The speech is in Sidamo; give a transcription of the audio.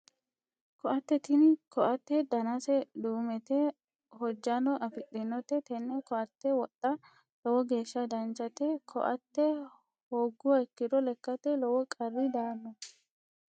Koatte tini koatte danase duumete hojjano afidhinote tenne koatte wodha lowo geeshsha danchate koatte hoogguha ikkiro lekkate lowo qarri daanno